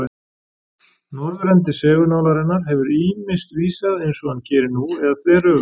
Norðurendi segulnálarinnar hefur ýmist vísað eins og hann gerir nú eða þveröfugt.